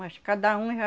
Mas cada um já...